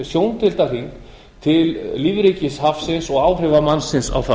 sjóndeildarhring til lífríkis hafsins og áhrifa mannsins á það